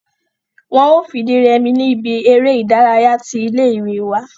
wọ́n o fìdírẹmi ní ibi eré ìdárayá tí ilé ìwé wa